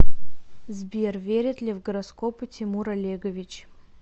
сбер верит ли в гороскопы тимур олегович